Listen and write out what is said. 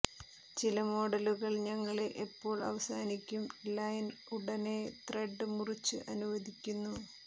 ചില മോഡലുകൾ ഞങ്ങളെ എപ്പോൾ അവസാനിക്കും ലൈൻ ഉടനെ ത്രെഡ് മുറിച്ചു അനുവദിക്കുന്നു